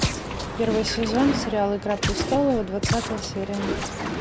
первый сезон сериал игра престолов двадцатая серия